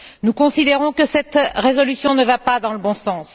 Nous considérons que cette résolution ne va pas dans le bon sens.